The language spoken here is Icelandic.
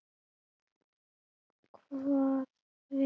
Hvort við erum til dæmis lík í útliti.